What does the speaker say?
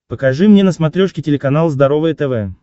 покажи мне на смотрешке телеканал здоровое тв